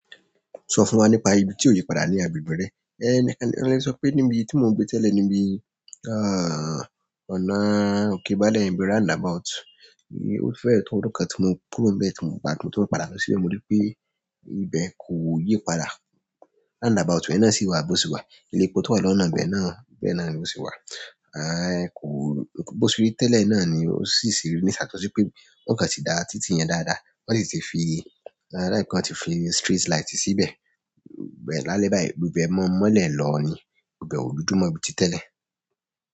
Sọ fún wa nípa ibi tí o yípadà ní agbègbè re. Níbi tí mo ń gbé tẹ́lẹ̀, níbi ọ̀nà òkè Bàale, ibi roundabout, ó fẹ́ ẹ̀ to ọdún tí mo kúrò níbẹ̀ tí mo ń padà tí lọ sílẹ̀, mo rí pé ibẹ̀ kò yípadà. Roundabout yen náà sì wà, bó se wà, ilé epo tó wà ní ọ̀nà ibe náà, bẹ́ẹ̀ na ló se wà. Bó ṣe ri tẹ́lẹ̀ náà ni ó sì sì yàtọ̀ si pé won kan tí dá títì yẹn dáadáa, wọn sì ti fi, onda wípé wọn ti fi street light síbẹ̀. Ìbẹ̀ lálẹ́ báyìí, gbogbo e maa n mọ́lẹ̀ lọ ní, ìbẹ̀ ò dúdú mọ́ bi tí tẹ́lẹ̀.